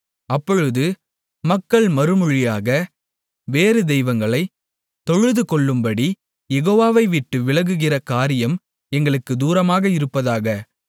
அப்பொழுது மக்கள் மறுமொழியாக வேறு தெய்வங்களைத் தொழுதுகொள்ளும்படி யெகோவாவை விட்டு விலகுகிற காரியம் எங்களுக்குத் தூரமாக இருப்பதாக